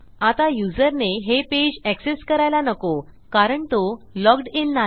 आता युजरने हे पेज एक्सेस करायला नको कारण तो लॉग्ड इन नाही